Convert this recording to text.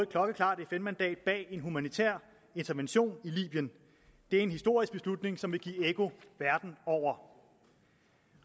klokkeklart fn mandat bag en humanitær intervention i libyen det er en historisk beslutning som vil give ekko verden over